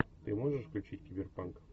ты можешь включить киберпанк